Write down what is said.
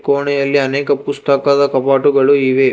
ಕೊಣೆಯಲ್ಲಿ ಅನೇಕ ಪುಸ್ತಕದ ಕಬೋರ್ಡು ಗಳು ಇವೆ.